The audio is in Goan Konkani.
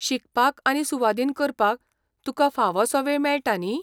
शिकपाक आनी सुवादीन करपाक तुका फोवोसो वेळ मेळटा न्ही?